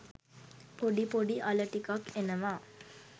පොඩි පොඩි අල ටිකක් එනවා.